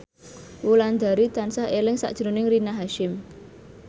Wulandari tansah eling sakjroning Rina Hasyim